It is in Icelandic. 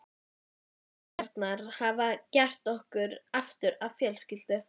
Minningarnar hafa gert okkur aftur að fjölskyldu.